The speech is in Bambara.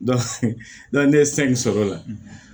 ne ye san o la